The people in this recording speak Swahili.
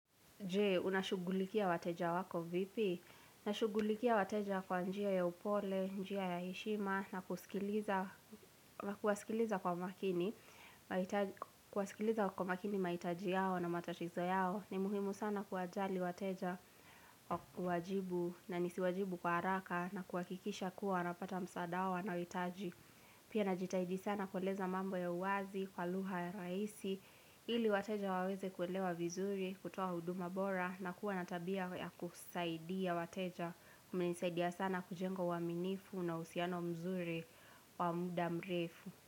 Je, unashughulikia wateja wako vipi? Ninashughulikia wateja kwa njia ya upole, njia ya heshima, na kuwasikiliza kwa makini mahitaji yao na matatizo yao. Ni muhimu sana kuwajali wateja kwa kuwajibu na nisiwajibu kwa haraka na kuhakikisha kuwa wanapata msaada wanaohitaji. Pia najitahidi sana kuweleza mambo ya uwazi, kwa lugha ya rahisi, ili wateja waweze kuelewa vizuri, kutoa huduma bora, na kuwa na tabia ya kusaidia wateja kumenisaidia sana kujenga uaminifu na uhsiano mzuri wa muda mrefu.